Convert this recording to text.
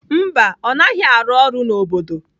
Mba, ọ naghị arụ ọrụ n'obodo.